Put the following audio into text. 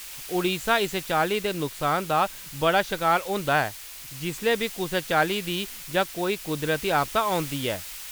ओडिशा इस चाल्ली दे नुकसान दा बड़ा शकार होंदा जिसलै बी कुसै चाल्ली दी जां कोई कुदरती आपदा औंदी ऐ।